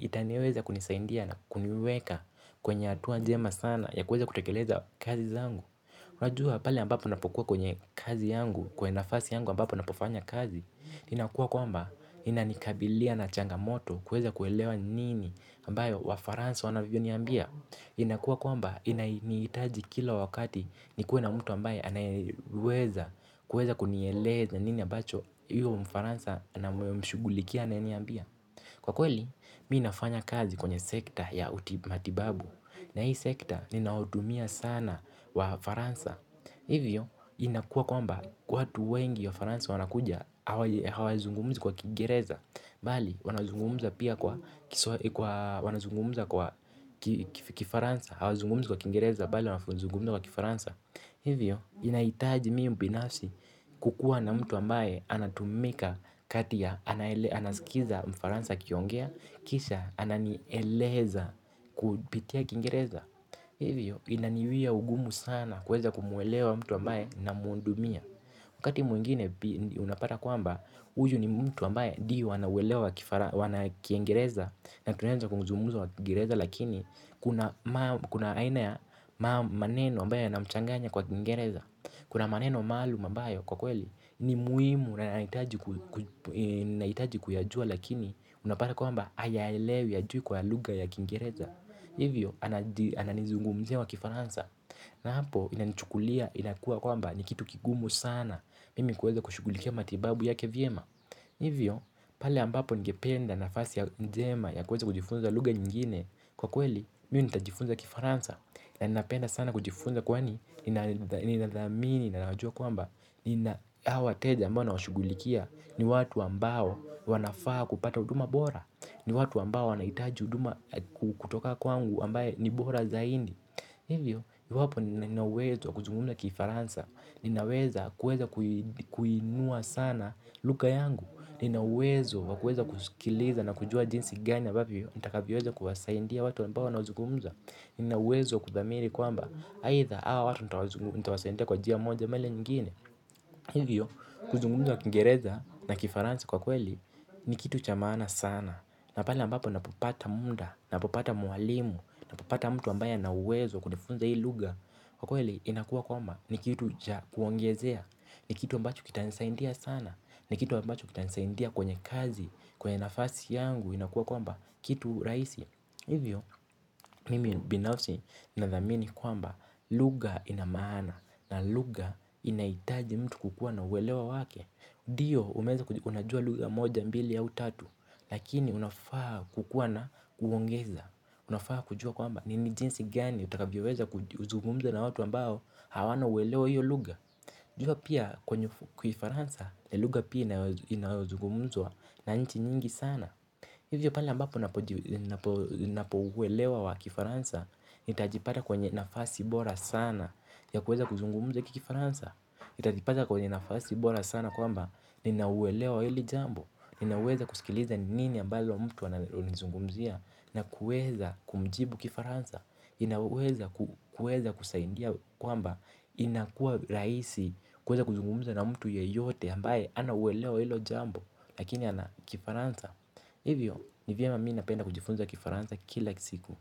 itaniweza kunisaindia na kuniweka kwenye atuwa njema sana ya kuweza kutekeleza kazi zangu. Wajua pale ambapo napokuwa kwenye kazi yangu, kwa nafasi yangu ambapo napofanya kazi, inakuwa kwamba inanikabilia na changamoto kuweza kuelewa nini ambayo wafaransa wanavyo niambia. Inakua kwamba inanihitaji kila wakati nikue na mtu ambaye anayeweza kuweza kunieleza nini ambacho huyo mfaransa na mshugulikia ananiambia. Kwa kweli mi nafanya kazi kwenye sekta ya matibabu na hii sekta ninahudumia sana wafaransa. Hivyo, inakua kwamba watu wengi wa Faransa wanakuja, hawazungumzi kwa kiigereza, bali wanazungumza pia kwa wanazungumza kwa kifaransa, hawa zungumzi kwa kiingereza, bali wanazungumza kwa kifaransa. Hivyo, inaitaji mii mbinafsi kukua na mtu ambaye anatumika kati ya anasikiza mfaransa akiongea, kisha ananieleza kupitia kiingereza. Hivyo inaniwia ugumu sana kuweza kumuuelewa mtu ambaye namuhudumia. Wakati mwingine unapata kwamba huyu ni mtu ambaye dio wanauwelewa kifara wana kiiengereza. Na tunaeza kuzungumza kiengereza lakini kuna aina ya maneno ambae yanamchanganya kwa kiingereza. Kuna maneno maalum ambayo kwa kweli ni muimu na yanahitaji naitaji kuyajua lakini unapata kwamba hayaelewi hajui kwa luga ya kiingereza. Hivyo ananizungumzia wa kifaransa na hapo inanichukulia inakua kwamba ni kitu kigumu sana mimi kuweza kushugulikia matibabu yake vyema. Hivyo pale ambapo ningependa nafasi ya njema ya kuweza kujifunza luga nyingine kwa kweli mi nitajifunza kifaransa. Na ninapenda sana kujifunza kwani ninadhamini, na najua kwamba nina awa wateja ambao na washugulikia. Ni watu ambao wanafaa kupata huduma bora. Ni watu ambao wanaitaji huduma kutoka kwangu ambaye ni bora zaini. Hivyo, iwapo ninauwezo wa kuzungumza kifaransa ninaweza kuweza kuinua sana luka yangu. Ninauwezo wakueza kusikiliza na kujua jinsi gani ambavyo nitakavyoweza kuwasaindia watu ambao wanazugumza. Ninauwezo kuthamiri kwamba haitha hawa watu nitawasaindia kwa jia moja lile nyingine. Hivyo, kuzungumza kiingereza na kifaransa kwa kweli ni kitu cha maana sana na pale ambapo napopata munda, napopata mwalimu napopata mtu ambaye anauwezo wa kunifunza hii luga. Kwa kweli, inakuwa kwamba ni kitu cha kuongezea. Ni kitu ambacho kitanisaindia sana. Ni kitu ambacho kitanisaindia kwenye kazi. Kwenye nafasi yangu, inakuwa kwamba kitu raisi. Hivyo mimi binafsi na dhamini kwamba luga inamaana na luga inaitaji mtu kukua na uwelewa wake. Dio umeeza kujua luga moja mbili au tatu lakini unafaa kukua na kuongeza unafaa kujua kwamba nini jinsi gani utakavyoweza kuzugumza na watu ambao hawana uwelewa wa hiyo luga. Jua pia kwenye kifaransa na luga pia inayozugumzwa na nchi nyingi sana. Hivyo pale ambapo napo uelewa wa kifaransa, nitajipata kwenye nafasi bora sana ya kuweza kuzungumza ki kifaransa. Itajipata kwenye nafasi bora sana kwamba ninauelewa hili jambo, ninauwezo kusikiliza nini ambayo mtu ananizungumzia na kuweza kumjibu kifaransa. Ni na uweza kusaindia kwamba inakua raisi kuweza kuzungumuza na mtu yeyote ambaye ana uwelewa wa hilo jambo lakini ana kifaransa. Hivyo, ni vyema mi napenda kujifunza kifaransa kila siku.